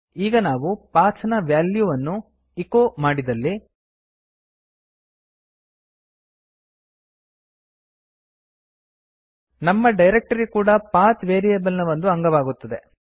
ಈಗ ನಾವು ಪಥ್ ನ ವ್ಯಾಲ್ಯೂವನ್ನು ಎಚೊ ಮಾಡಿದಲ್ಲಿ ನಮ್ಮ ಡೈರಕ್ಟರಿ ಕೂಡಾ ಪಥ್ ವೇರಿಯೇಬಲ್ ನ ಒಂದು ಅಂಗವಾಗುತ್ತದೆ